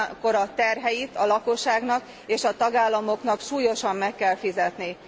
Ugyanakkor ezek terheit a lakosságnak és a tagállamoknak súlyosan meg kell fizetniük.